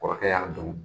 Kɔrɔkɛ y'a dɔn